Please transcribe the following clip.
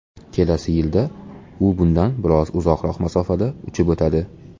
Kelasi yilda u bundan biroz uzoqroq masofada uchib o‘tadi.